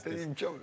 Yəni imkan yox idi.